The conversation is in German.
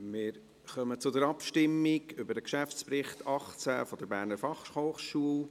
Wir kommen zur Abstimmung über den Geschäftsbericht 2018 der BFH.